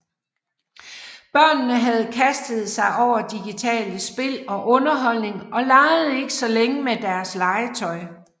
Børnene havde kastet sig over digitale spil og underholdning og legede ikke så længe med deres legetøj